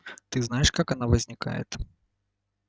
ты знаешь как она возникает